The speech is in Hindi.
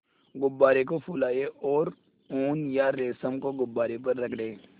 गुब्बारे को फुलाएँ और ऊन या रेशम को गुब्बारे पर रगड़ें